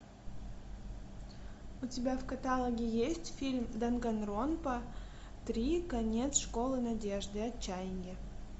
у тебя в каталоге есть фильм данганронпа три конец школы надежды отчаяние